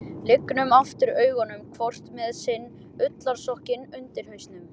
Lygnum aftur augunum, hvort með sinn ullarsokkinn undir hausnum.